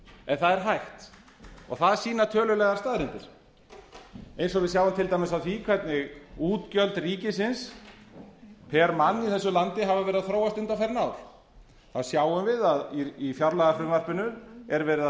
en það er hægt það sýna tölulegar staðreyndir eins og við sjáum til dæmis af því hvernig útgjöld ríkisins pr mann í þessu landi hafa verið að þróast undanfarin ár þá sjáum við að í fjárlagafrumvarpinu er verið að